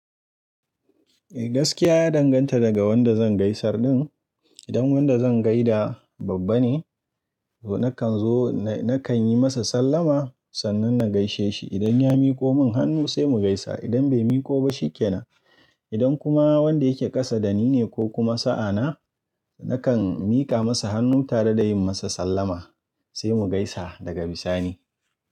Eh gaskiya ya danganta daga wanda zan gaisar din. Idan wanda zan gaida babba ne, to nakan zo na kan yi masa sallama sannan na gaishe shi. Idan ya miko mun hannu sai mu gaisa, idan bai miko ba shi ke nan. Idan kuma wanda yake kasa da ni ne ko kuma sa'a na, nakan mika masa hannu tare da yin masa sallama sai mu gaisa daga bisani.